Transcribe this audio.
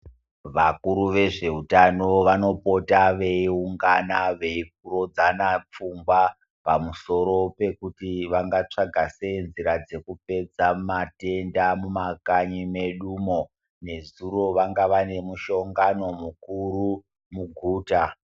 Vakuru vezvehutano vanopota veyiwungana veyirodzana pfungwa pamusoro pekuti vangatsvaga sei nzira dzekupedza matenda mumakanyi medu momo. Nezuro vanga vanemushongano mukuru muguta.